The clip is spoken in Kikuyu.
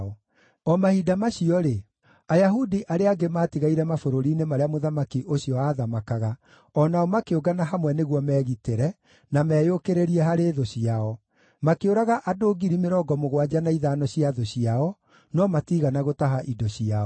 O mahinda macio-rĩ, Ayahudi arĩa angĩ maatigaire mabũrũri-inĩ marĩa mũthamaki ũcio aathamakaga o nao makĩũngana hamwe nĩguo meegitĩre, na meeyũkĩrĩrie harĩ thũ ciao. Makĩũraga andũ ngiri mĩrongo mũgwanja na ithano cia thũ ciao, no matiigana gũtaha indo ciao.